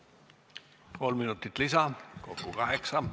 Kolm minutit lisa, kokku kaheksa minutit.